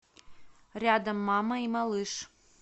рядом мама и малыш